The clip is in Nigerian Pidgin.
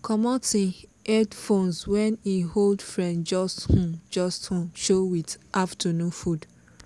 comot him headphones when him old friend just um just um show with afternoon food